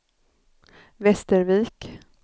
Västervik